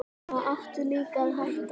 Þá áttu líka að hætta.